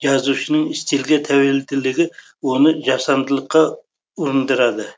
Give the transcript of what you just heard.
жазушының стильге тәуелділігі оны жасандылыққа ұрындырады